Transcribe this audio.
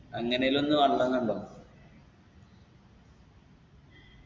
അങ്ങനേലും ഒന്ന് വെള്ളം കണ്ടോ